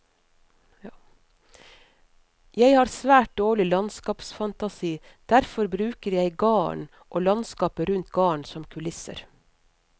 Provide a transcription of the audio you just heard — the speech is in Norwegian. Jeg har svært dårlig landskapsfantasi, derfor bruker jeg garden og landskapet rundt garden som kulisser.